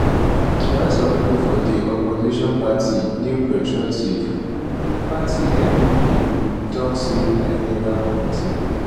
while some pipo for di opposition party new patriotic um party npp um tok say na illegal committee